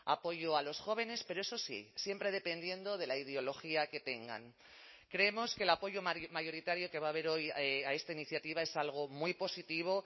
apoyo a los jóvenes pero eso sí siempre dependiendo de la ideología que tengan creemos que el apoyo mayoritario que va a haber hoy a esta iniciativa es algo muy positivo